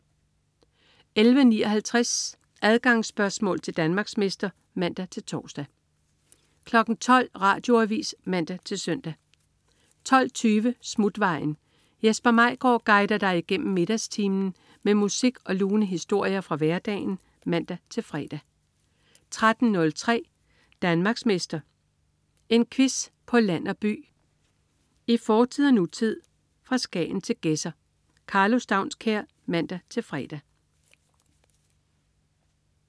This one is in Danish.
11.59 Adgangsspørgsmål til Danmarksmester (man-tors) 12.00 Radioavis (man-søn) 12.20 Smutvejen. Jesper Maigaard guider dig igennem middagstimen med musik og lune historier fra hverdagen (man-fre) 13.03 Danmarksmester. En quiz på land og by, i fortid og nutid, fra Skagen til Gedser. Karlo Staunskær (man-fre)